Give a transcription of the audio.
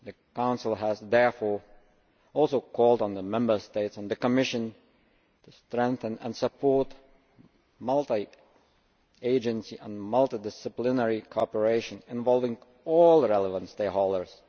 The Council has therefore also called on the Member States and the Commission to strengthen and support multi agency and multidisciplinary cooperation involving all relevant stakeholders.